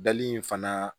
Dali in fana